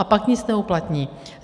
A pak nic neuplatní.